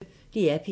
DR P1